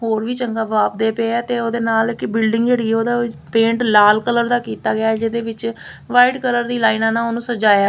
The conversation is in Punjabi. ਹੋਰ ਵੀ ਚੰਗਾ ਬਾਪਦੇ ਪਏ ਆ ਤੇ ਉਹਦੇ ਨਾਲ ਕਿ ਬਿਲਡਿੰਗ ਜਿਹੜੀ ਹ ਉਹਦਾ ਪੇਂਟ ਲਾਲ ਕਲਰ ਦਾ ਕੀਤਾ ਗਿਆ ਜਿਹਦੇ ਵਿੱਚ ਵਾਈਟ ਕਲਰ ਦੀ ਲਾਈਨਾਂ ਨਾਲ ਉਹਨੂੰ ਸਜਾਇਆ।